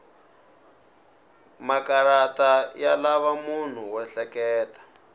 makarata ya lava munhu wo ehleketa